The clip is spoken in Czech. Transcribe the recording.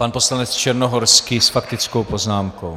Pan poslanec Černohorský s faktickou poznámkou.